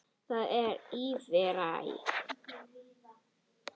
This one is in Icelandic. Það er Ífæran.